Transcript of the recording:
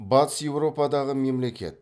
батыс еуропадағы мемлекет